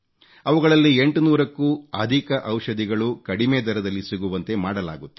ಅವುಗಳಲ್ಲಿ 800 ಕ್ಕೂ ಅಧಿಕ ಔಷಧಿಗಳು ಕಡಿಮೆ ದರದಲ್ಲಿ ಸಿಗುವಂತೆ ಮಾಡಲಾಗುತ್ತಿದೆ